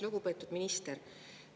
Lugupeetud minister!